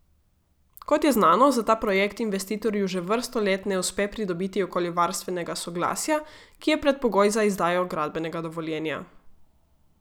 Kot je znano, za ta projekt investitorju že vrsto let ne uspe pridobiti okoljevarstvenega soglasja, ki je predpogoj za izdajo gradbenega dovoljenja.